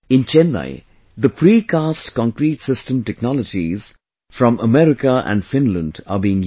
In Chennai, the Precast Concrete system technologies form America and Finland are being used